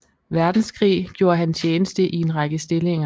Verdenskrig gjorde han tjeneste i en række stillinger